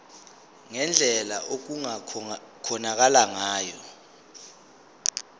ngendlela okungakhonakala ngayo